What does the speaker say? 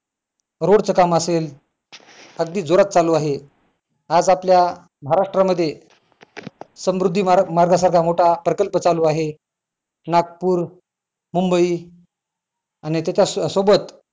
road चं काम असेल अगदी जोरात चालू आहे आज आपल्या महाराष्ट्रा मध्ये समृद्धी मार्गा मार्गा सारखा मोठा प्रकल्प चालू आहे नागपूर, मुंबई आणि त्याच्या सोबत